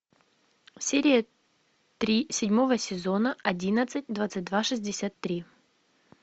серия три седьмого сезона одиннадцать двадцать два шестьдесят три